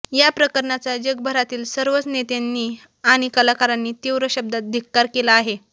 या प्रकरणाचा जगभरातील सर्वच नेत्यांनी आणि कलाकारांनी तीव्र शब्दात धिक्कार केला आहे